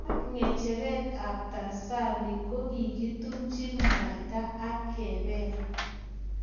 Ak kecheret ap tanzani ko kokitumchi mwaita ak kepel